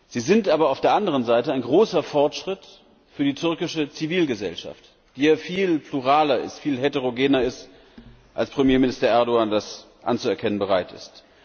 Sie sind aber auf der anderen Seite ein großer Fortschritt für die türkische Zivilgesellschaft, die ja viel pluraler und heterogener ist, als Premierminister Erdoğan das anzuerkennen bereit ist.